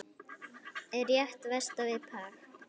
Er rétt vestan við Prag.